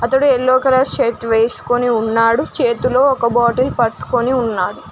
అతడు yellow colour shirt వేసుకొని ఉన్నాడు చేతిలో ఒక బాటిల్ పట్టుకొని ఉన్నాడు.